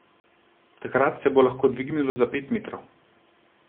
Takrat se bo lahko dvignilo za pet metrov.